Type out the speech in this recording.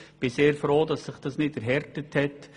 Ich bin sehr froh, dass sich dies nicht erhärtet hat.